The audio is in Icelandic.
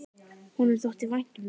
Honum þótti vænt um það.